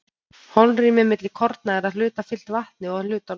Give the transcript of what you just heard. holrými milli korna er að hluta fyllt vatni og að hluta lofti